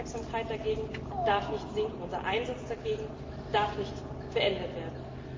Unsere Aufmerksamkeit demgegenüber darf nicht sinken, unser Einsatz dagegen darf nicht beendet werden.